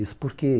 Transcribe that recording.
Isso por quê?